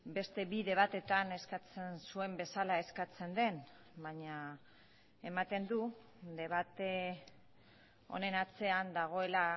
beste bide batetan eskatzen zuen bezala eskatzen den baina ematen du debate honen atzean dagoela